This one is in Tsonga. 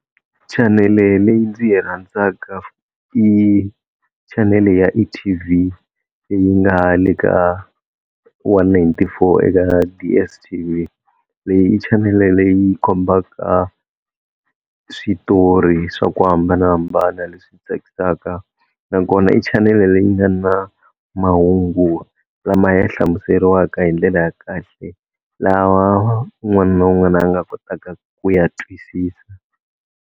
Chanele leyi ndzi yi rhandzaka i chanele ya eT_V leyi nga le ka one ninety-four eka DSTV, leyi i chanele leyi kombaka switori swa ku hambanahambana leswi tsakisaka nakona i chanele leyi nga na mahungu lama ya hlamuseriwaka hi ndlela ya kahle, lawa un'wani na un'wani a nga kotaka ku ya twisisa.